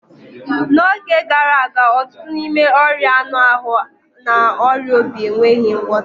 N'oge gara aga, ọtụtụ n'ime ọria anu ahụ na ọrịa obi enweghị ngwọta